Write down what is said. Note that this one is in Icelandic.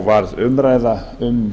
varð umræða um